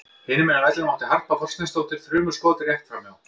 Hinum megin á vellinum átti Harpa Þorsteinsdóttir þrumuskot rétt framhjá.